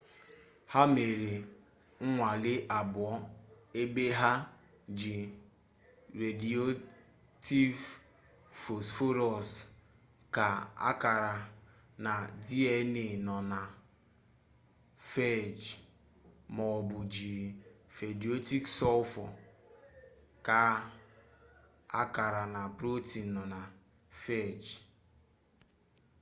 ha mere nnwale abụọ ebe ha ji rediyoaktiv fosforọs kaa akara na dna nọ na fej maọbụ jiri rediyoaktiv sọlfọ kaa akara na protin nọ na fej